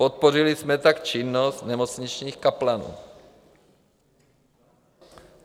Podpořili jsme tak činnost nemocničních kaplanů.